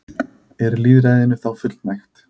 Er lýðræðinu þá fullnægt?